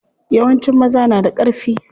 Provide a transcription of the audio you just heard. Yawancin maza na da ƙarfi.